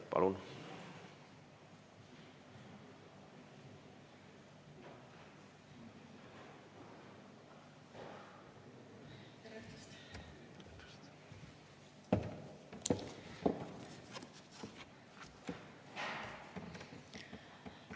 Palun!